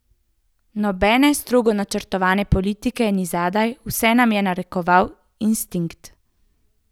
Nobene strogo načrtovane politike ni zadaj, vse nam je narekoval instinkt.